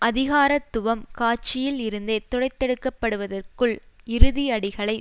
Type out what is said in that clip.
அதிகாரத்துவம் காட்சியில் இருந்தே துடைத்தெடுக்கப்படுவதற்குள் இறுதி அடிகளை